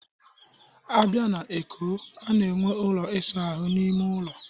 A bịa na Eko, a na-enwe ụlọ ịsa ahụ n'ime ụlọ